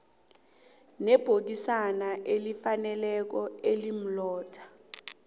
ibhokisana elifaneleko elimlotha